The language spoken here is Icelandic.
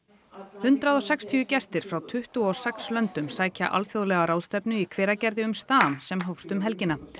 hundrað og sextíu gestir frá tuttugu og sex löndum sækja alþjóðlega ráðstefnu í Hveragerði um stam sem hófst um helgina